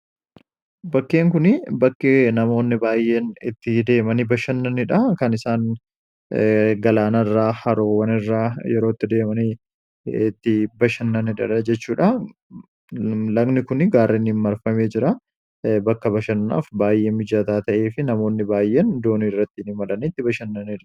bakkeen kun bakkee namoonni baayeen itti deemanii bashannaniidha kan isaan galaana irraa haroowwan irraa yerootti deemanii itti bashannanid jechuudha lagni kun gaarinhin marfamee jira bakka bashannaaf baayyee mijataa ta'ee fi namoonni baay'een doonii irrattiin himalanitti bashannaniira